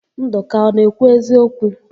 Ndụka ọ na-ekwu eziokwu?